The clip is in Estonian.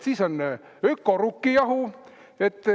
Siis on ökorukkijahu.